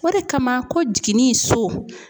O de kama ko jiginni so